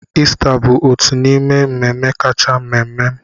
Ista bụ otu n'ime mmemme kacha mma m.